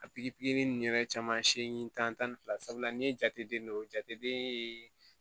A pikiri nunnu yɛrɛ caman siɲɛni tan ni fila sabula ni ye jateden dɔ jate den ye